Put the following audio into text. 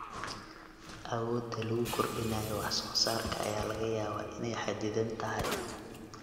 Awoodda lagu kordhinayo wax soo saarka ayaa laga yaabaa inay xaddidan tahay.